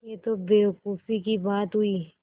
यह तो बेवकूफ़ी की बात हुई